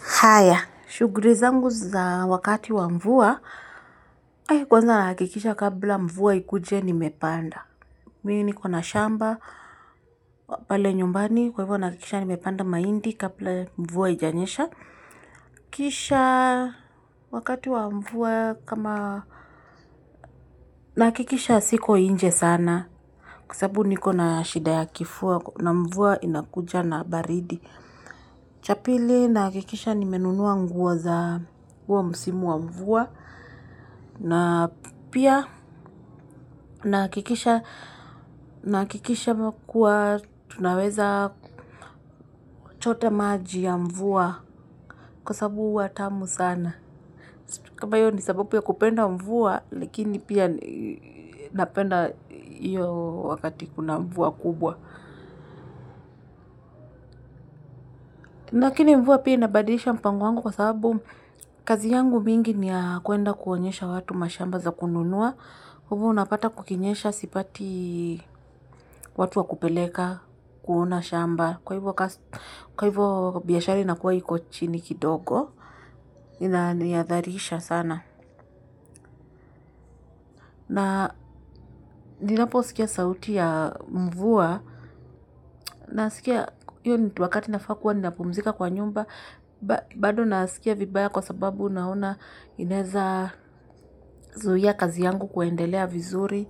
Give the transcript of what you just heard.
Haya, shuguli zangu za wakati wa mvua. Kwanza nahakikisha kabla mvua ikuje nimepanda. Mi niko na shamba, pale nyumbani, kwa hivyo nahakikisha nimepanda mahindi, kabla mvua haijanyesha. Kisha wakati wa mvua kama nahakikisha siko inje sana. Kwa sababu niko na shida ya kifua na mvua inakuja na baridi. Cha pili nahakikisha nimenunua nguo za huo msimu wa mvua. Na pia nahakikisha kuwa tunaweza kuchota maji ya mvua kwa sababu huwa tamu sana kama hiyo ninsababu ya kupenda mvua lakini pia napenda hiyo wakati kuna mvua kubwa lakini mvua pia inabadisha mpango wangu kwa sababu kazi yangu mingi ni ya kuenda kuonyesha watu mashamba za kununua. Kwa hivyo unapata kukinyesha sipati watu wa kupeleka kuona shamba. Kwa hivyo biashari inakuwa iko chini kidogo. Inaniadharisha sana. Na ninaposikia sauti ya mvua. Nasikia hiyoo ni tu wakati nafaa kuwa ninapumzika kwa nyumba. Bado nasikia vibaya kwa sababu naona inezazuia kazi yangu kuendelea vizuri.